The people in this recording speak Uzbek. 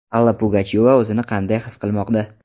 Alla Pugachyova o‘zini qanday his qilmoqda?.